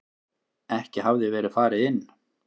Ekki hafði verið farið inn.